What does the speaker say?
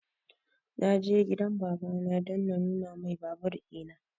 Na je gidan baba na don na nuna mai babur ina